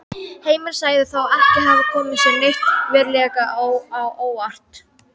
Heimir sagði þá ekki hafa komið sér neitt verulega á óvart.